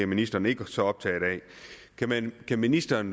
ministeren ikke er så optaget af kan ministeren